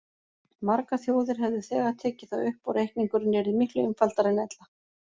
Margar þjóðir hefðu þegar tekið það upp og reikningurinn yrði miklu einfaldari en ella.